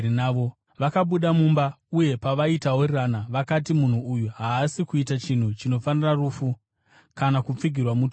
Vakabuda mumba, uye pavaitaurirana, vakati, “Munhu uyu haasi kuita chinhu chinofanira rufu kana kupfigirwa mutorongo.”